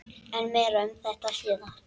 En meira um þetta síðar.